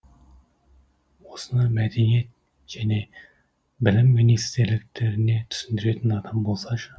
осыны мәдениет және білім министрліктеріне түсіндіретін адам болсашы